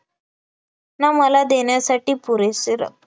ना मला देण्यासाठी पुरेसे रक्त